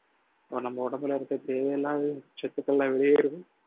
நம்ம உடம்புல இருக்க தேவையில்லாத சத்துக்கள் எல்லாம் வெளியேறுது